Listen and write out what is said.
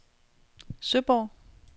Søborg